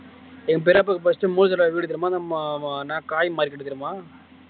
எங்க பெரியப்பா நாமா காய்மார்கிட்ட. தெரியுமா